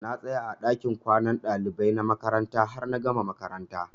Na tsaya a ɗakin kwanan ɗalibai na makaranta har na gama makaranta.